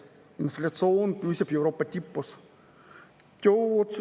Inflatsioon püsib Euroopa tipus.